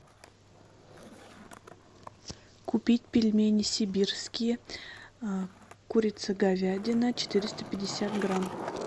купить пельмени сибирские курица говядина четыреста пятьдесят грамм